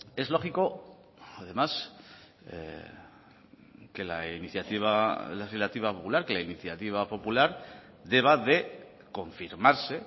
es lógico además que la iniciativa legislativa popular que la iniciativa popular deba de confirmarse